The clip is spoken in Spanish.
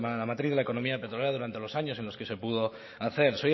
la matriz de la economía petrolera durante los años en los que se pudo hacer